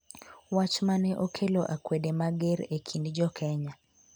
wach mane okelo akwede mager e kind jokenya